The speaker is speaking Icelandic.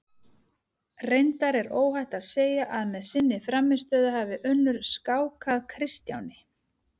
Reyndar er óhætt að segja að með sinni frammistöðu hafi Unnur skákað Kristjáni.